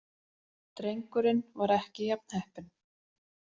Drengurinn var ekki jafn heppinn.